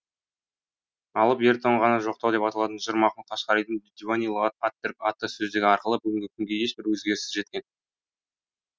алып ер тоңғаны жоқтау деп аталатын жыр махмұт қашқаридың диуани лұғат ат түрк атты сөздігі аркылы бүгінгі күнге ешбір өзгеріссіз жеткен